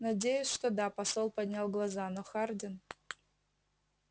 надеюсь что да посол поднял глаза но хардин